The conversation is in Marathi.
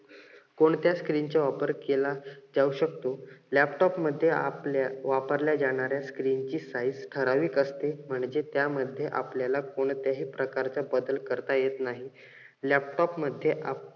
कोणत्या screen चा वापर केला जाऊ शकतो. laptop मध्ये आपल्या वापरल्या जाणाऱ्या screen ची size ठराविक असते. म्हणजे त्यामध्ये आपल्याला कोणत्याही प्रकारचा बदल करता येत नाही. laptop मध्ये